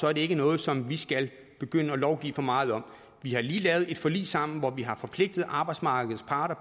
er det ikke noget som vi skal begynde at lovgive for meget om vi har lige lavet et forlig sammen hvor vi har forpligtet arbejdsmarkedets parter